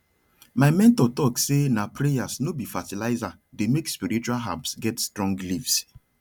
my mentor talk say na prayers no be fertilizer dey make spiritual herbs get strong leaves